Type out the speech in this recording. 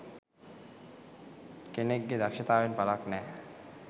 කෙනෙක් ගෙ දක්ශතාවයෙන් පලක් නෑ